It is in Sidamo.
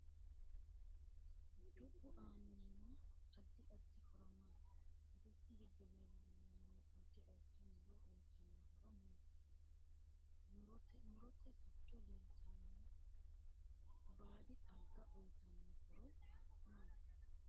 Dubbu aanno addi addi horo maati dubbu giddo leeltanno addi addi muro uyiitanno horo maati mirote giddo leeltanno baadi xagga uyiitanno horo maati